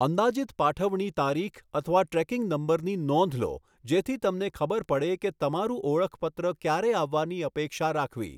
અંદાજિત પાઠવણી તારીખ અથવા ટ્રેકિંગ નંબરની નોંધ લો જેથી તમને ખબર પડે કે તમારું ઓળખપત્ર ક્યારે આવવાની અપેક્ષા રાખવી.